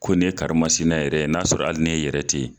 Ko ne karimasinɛ yɛrɛ n'a sɔrɔ ali ne yɛrɛ te yen